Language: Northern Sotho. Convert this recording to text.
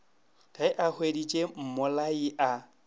ge a hweditše mmolai a